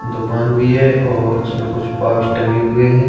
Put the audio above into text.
दुकान भी है और उसमें कुछ पाउच टंके हुए है।